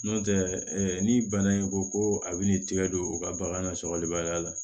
N'o tɛ ni bana in ko ko a bɛ n'i tɛgɛ don u ka bagan na sɔkɔlibaliya la